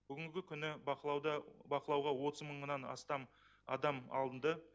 бүгінгі күні бақылауға отыз мыңнан астам адам алынды